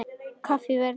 Kaffi í Végarði á eftir.